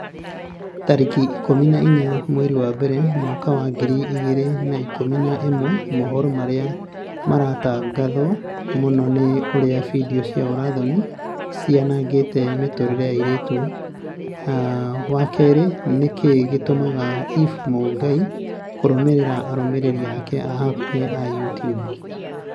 tarĩki ikũmi na inya mweri wa mbere mwaka wa ngiri igĩrĩ na ikũmi na ĩmwe mohoro marĩa maratangatwo mũno ni ũrĩa findio cia ũũra-thoni cianangĩte mĩtũrĩre ya airĩtu wa kerĩ nĩkĩĩ gĩtũmaga eve mũngai kũrũmĩrĩra arũmĩrĩri ake a hakuhi a YouTUBE